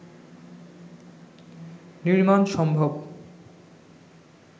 নির্মাণ সম্ভব